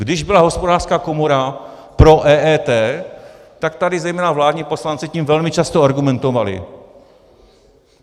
Když byla Hospodářská komora pro EET, tak tady zejména vládní poslanci tím velmi často argumentovali.